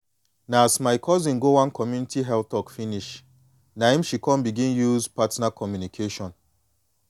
na as my cousin go one community health talk finish na em she come begin use partner communication